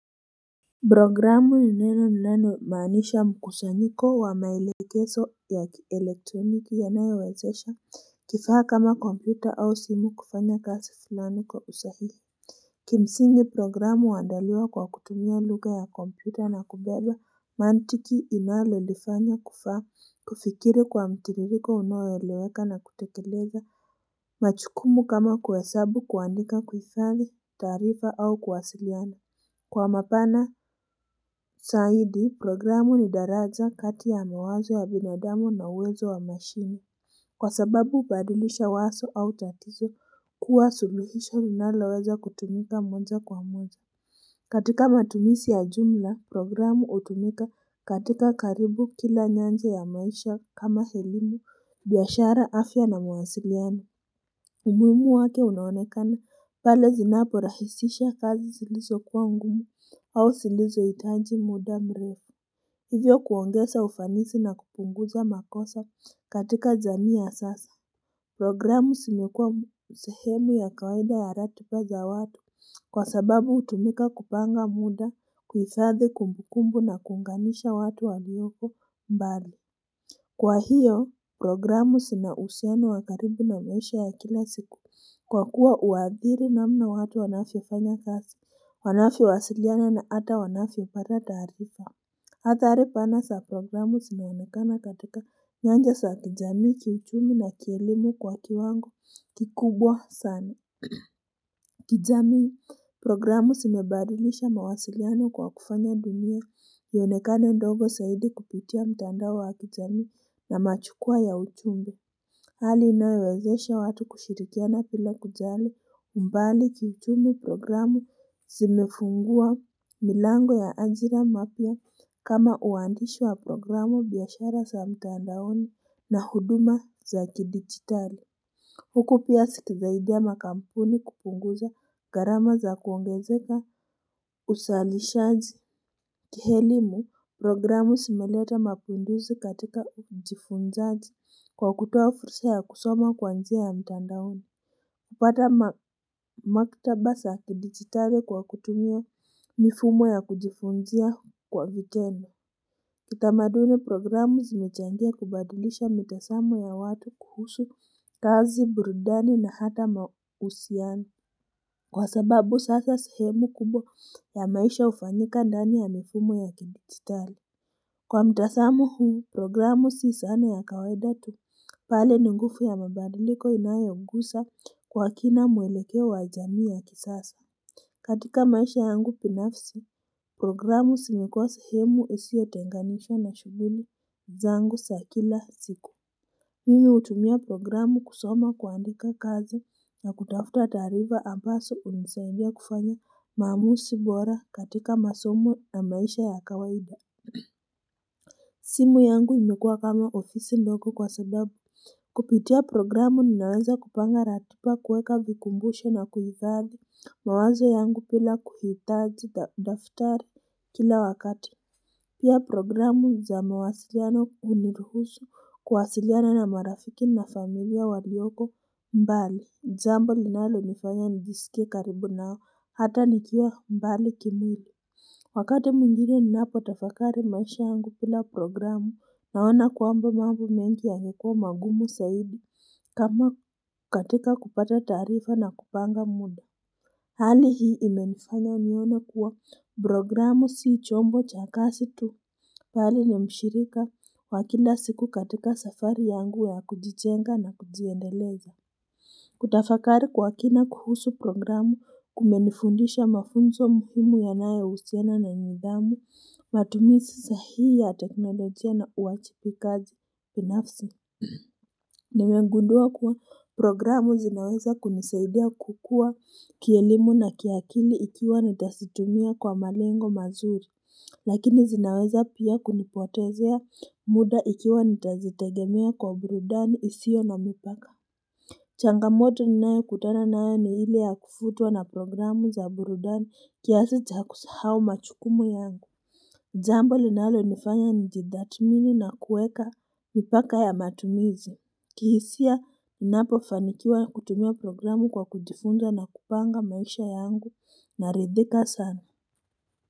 Programu ni neno ni neno linalomaanisha mkushanyiko wa mailekezo ya kielektroniki ya nayowezesha Kifaa kama kompyuta au simu kufanya kazi fulani kwa usahihi Kimsingi programu uandaliwa kwa kutumia lugha ya kompyuta na kubeba mantiki inalolifanya kifaa kufikiri kwa mtiririko unoeleweka na kutekeleza majukumu kama kuhesabu kuandika kuhifadhi taarifa au kuwasiliana Kwa mapana zaidi, programu ni daraja kati ya mawazo wa binadamu na uwezo wa mashini. Kwa sababu hubadilisha wazo au tatizo kuwa suluhisho linaloweza kutumika moja kwa moja. Katika matumizi ya jumla, programu hutumika katika karibu kila nyanja ya maisha kama elimu, biashara afya na mawasiliano. Umuhimu wake unaonekana pale zinaporahisisha kazi zilizo kuwa ngumu au zilizo hitaji muda mrefu. Hivyo kuongeza ufanisi na kupunguza makosa katika jamii ya sasa. Programu zimekua usehemu ya kawaida ya ratiba za watu kwa sababu hutumika kupanga muda kuhifadhi kumbukumbu na kuunganisha watu walioko mbali. Kwa hiyo programu zina uhusiano wakaribu na maisha ya kila siku kwa kuwa huadhiri namna watu wanavyofanya kazi, wanavyo wasiliana na ata wanacyo pata taarifa. Athari pana za programu zinaonekana katika nyanja sa kijamii kiuchumi na kielimu kwa kiwango kikubwa sana. Kijami programu zimebadilisha mawasiliano kwa kufanya dunia ionekane ndogo zaidi kupitia mtandao wa kijamii na majukwa ya ujumbe. Hali inoyowezesha watu kushirikiana bila kujali umbali kiuchumi programu zimefungua milango ya ajira mapya kama uandishi wa programu biashara za mtandaoni na huduma za kidigitali. Huku pia zikisaidia makampuni kupunguza gharama za kuongezeka uzalishaji kielimu programu zimeleta mapinduzi katika ujifunzaji kwa kutoa fursa ya kusoma kwanjia ya mitandaoni. hUpata maktaba za kidigitale kwa kutumia mifumo ya kujifunzia kwa vitendo. Kitamaduni programu zimechangia kubadilisha mitazamo ya watu kuhusu, kazi, burudani na hata mahusiano. Kwa sababu sasa sehemu kubwa ya maisha hufanyikan dani ya mifumo ya kidijitali. Kwa mtazamo huu, programu sii zana ya kawaidatu bali ninguvu ya mabadiliko inayogusa kwa kina muelekeo wa jamii ya kisasa. Katika maisha yangu binafisi, programu zimekuwa sehemu isiyotenganishwa na shughuli zangu za kila siku. Mimi hutumia programu kusoma kuandika kazi na kutafuta taarifa ambazo hunisaidia kufanya maamuzi bora katika masomo na maisha ya kawaida. Simu yangu imekuwa kama ofisi ndogo kwa sababu Kupitia programu ninaweza kupanga ratiba kuweka vikumbusho na kuhifadhi mawazo yangu bila kuhitaji daftari kila wakati Pia programu za mawasiliano huniruhusu kuwasiliana na marafiki na familia walioko mbali jambo linalo nifanya nijisikie karibu nao hata nikiwa mbali kimwili Wakati mwingine ninapo tafakari maisha yangu bila programu naona kwamba mambo mengi yangekuwa magumu zaidi kama katika kupata taarifa na kupanga muda Hali hii imenifanya nione kuwa programu sii chombo cha kazi tu bali ni mshirika wakila siku katika safari yangu ya kujijenga na kujiendeleza Kutafakari kwa kina kuhusu programu kumenifundisha mafunzo muhimu yanayo husiana na nidhamu matumizi sahihi ya teknolojia na uwajibikaji binafsi Nimegundua kuwa programu zinaweza kunisaidia kukua kielimu na kiakili ikiwa nitazitumia kwa malengo mazuri Lakini zinaweza pia kunipotezea muda ikiwa nitazitegemea kwa burudani isio na mipaka changamoto ninayo kutana nayo ni ile ya kuvutuwa na programu za burudani kiasi cha kusahau majukumu yangu. Jambo linalo nifanya nijidhamini na kuweka mipaka ya matumizi. Kihisia, ninapo fanikiwa kutumia programu kwa kujifunza na kupanga maisha yangu naridhika sana.